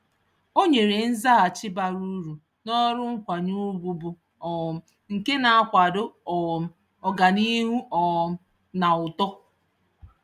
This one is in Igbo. Ọ nyere nzaghachi bara uru n'olu nkwanye ugwu bụ um nke na-akwado um ọganiihu um na uto.